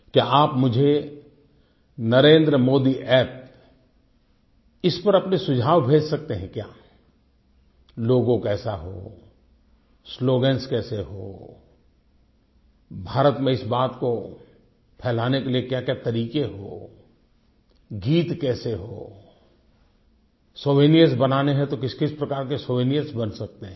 क्या आप मुझे नरेंद्रमोदीअप्प इस पर अपने सुझाव भेज सकते हैं क्या लोगो कैसा हो स्लोगन्स कैसे हो भारत में इस बात को फ़ैलाने के लिए क्या क्या तरीके हों गीत कैसे हों सोवेनिर्स बनाने हैं तो किसकिस प्रकार के सोवेनिर्स बन सकते हैं